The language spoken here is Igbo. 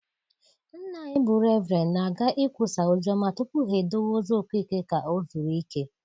Nna anyị bụ Reverend na-aga ikwusa ozi ọma tupu ha edowe ozu Okeke ka ọ zuru ike.